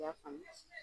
I y'a faamu